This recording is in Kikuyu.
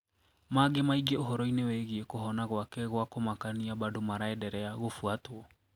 Mangi maingi uhoro ini wigie kuhona gwake gwa kũmakania bado maraederea gũfuatwo.